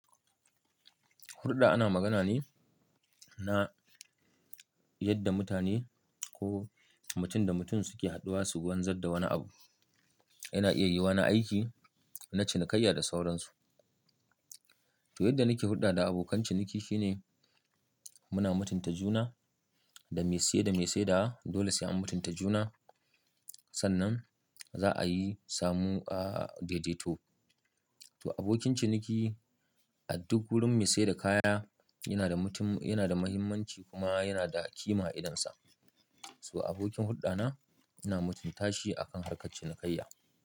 Hulɗa ana magana ne na yadda mutane ko mutum da mutum suke haɗuwa su wanzar da wani abu. Yana iya yiyuwa na aiki na cinikayya da sauransu. To yadda nake hurɗa da abokan ciniki shine muna mutunta juna, da me siye da me sedawa dole se an mutunta juna. Sannan za a yi samu a dedeto. To abokin ciniki a duk wurin me seda kaya yana da mahimmanci kuma yana da ƙima a idonsa. To abokin hulɗa na ina mutunta shi akan harka cinikayya.